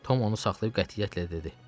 Tom onu saxlayıb qətiyyətlə dedi.